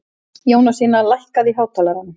Jónasína, lækkaðu í hátalaranum.